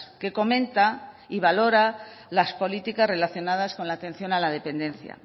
que comenta y valora las políticas relacionadas con la atención a la dependencia